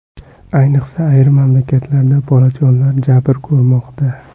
Ayniqsa, ayrim mamlakatlarda bolajonlar jabr ko‘rmoqda.